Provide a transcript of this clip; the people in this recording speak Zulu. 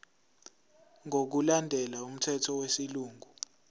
ngokulandela umthetho wesilungu